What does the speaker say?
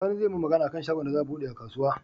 Sani zai mun Magana akan shagon da za a buɗe a kasuwa